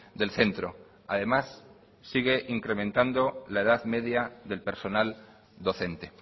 del centro además sigue incrementando la edad media del personal docente